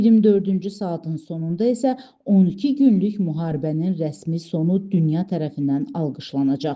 24-cü saatın sonunda isə 12 günlük müharibənin rəsmi sonu dünya tərəfindən alqışlanacaq.